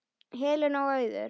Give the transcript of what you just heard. Helen og Auður.